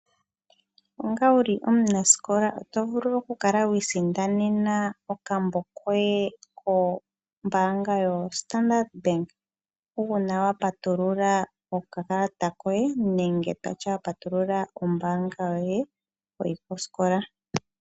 Onga wuli omunasikola oto vulu okukala wi isindanena okambo koye kombaanga yaStandard Bank uuna wa patulula okakalata koye, ano wa patulula ombaanga yoye wuli koskola.